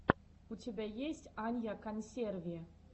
у тебя есть анья консерви